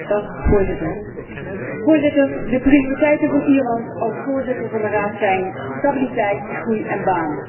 Voorzitter, de prioriteiten van Ierland als voorzitter van de Raad zijn stabiliteit, groei en banen.